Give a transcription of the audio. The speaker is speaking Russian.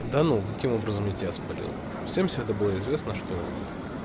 да ну каким образом я тебя спалил всем всегда было известно что